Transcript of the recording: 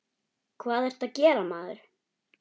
Hvað ertu að gera, maður?